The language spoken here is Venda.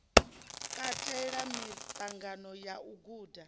katela miṱangano ya u guda